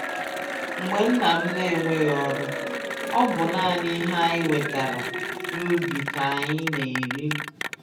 Mgbe nna m na-enweghị ọrụ, ọ bụ ihe anyị wetara n'ubi ụlọ k'anyị na-eri